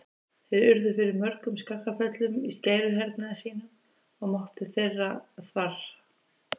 Þeir urðu fyrir mörgum skakkaföllum í skæruhernaði sínum og máttur þeirra þvarr.